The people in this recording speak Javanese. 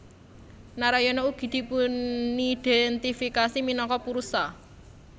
Narayana ugi dipunidéntifikasi minangka Purusha